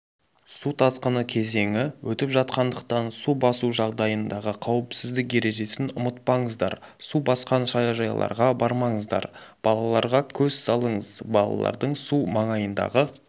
су тасқыны кезеңі өтіп жатқандықтан су басу жағдайындағы қауіпсіздік ережесін ұмытпаңыздар су басқан саяжайларға бармаңыздар балаларға көз салыңыз балалардың су маңайындағы